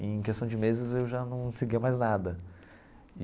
Em questão de meses, eu já não seguia mais nada.